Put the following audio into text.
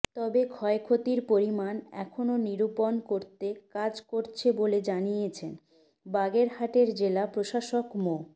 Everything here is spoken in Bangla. তবে ক্ষয়ক্ষতির পরিমাণ এখনো নিরূপণ করতে কাজ করছে বলে জানিয়েছেন বাগেরহাটের জেলা প্রশাসক মো